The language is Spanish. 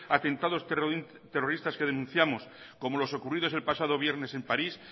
atentados territorios que denunciamos como los ocurridos en pasado viernes en paris